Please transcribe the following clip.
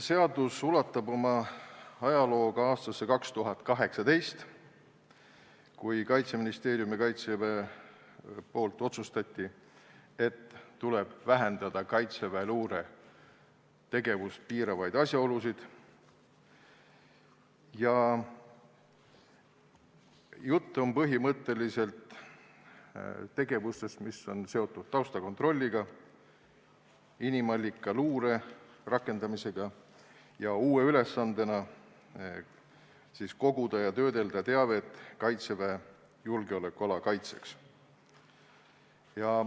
Seadus ulatub oma ajalooga aastasse 2018, kui Kaitseministeerium ja Kaitsevägi otsustasid, et tuleb vähendada kaitseväeluure tegevust piiravaid asjaolusid – jutt on põhimõtteliselt tegevustest, mis on seotud taustakontrolliga, inimallikaluure rakendamisega – ning uue ülesandena koguda ja töödelda teavet Kaitseväe julgeolekuala kaitseks.